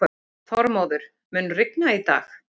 Þormóður, mun rigna í dag?